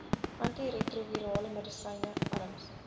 antiretrovirale medisyne arms